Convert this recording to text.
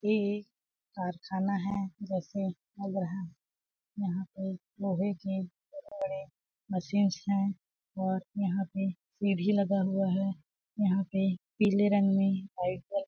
ये एक कारखाना है जैसे लग रहा है यहाँ पे लोहे के बहुत बड़े मशीन हियाँ और यहाँ पे सिढ़ी लगा हुआ है यहाँ पे पीले रंग में व्हाइट --